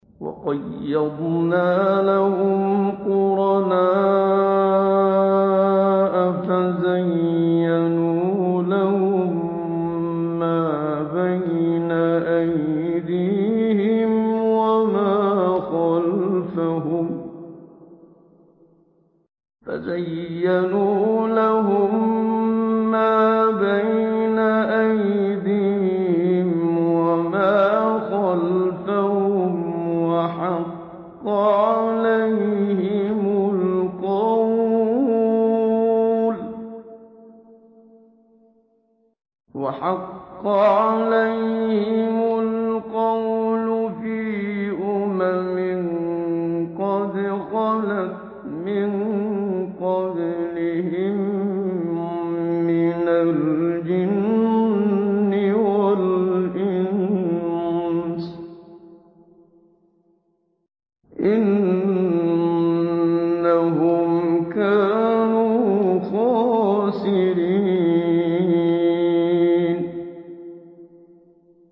۞ وَقَيَّضْنَا لَهُمْ قُرَنَاءَ فَزَيَّنُوا لَهُم مَّا بَيْنَ أَيْدِيهِمْ وَمَا خَلْفَهُمْ وَحَقَّ عَلَيْهِمُ الْقَوْلُ فِي أُمَمٍ قَدْ خَلَتْ مِن قَبْلِهِم مِّنَ الْجِنِّ وَالْإِنسِ ۖ إِنَّهُمْ كَانُوا خَاسِرِينَ